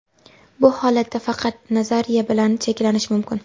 Bu holatda faqat nazariya bilan cheklanish mumkin.